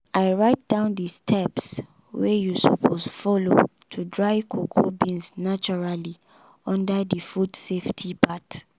i write down the steps wey you suppose follow to dry cocoa beans naturally under the food safety part